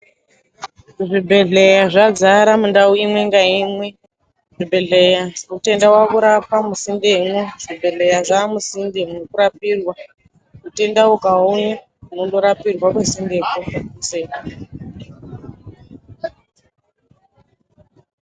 Zvibhedhleya zvadzara mundau imwe ngaimwe zvibhedhleya mutenda wakurapwa musindemwo zvibhedhleya zvamusinde mwekurapirwa mutenda ukauya unondorapirwa kusindeko.